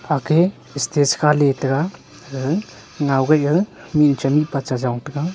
aage stage kha ley tega gaga ngokia gaga micha mihpa chajong tega.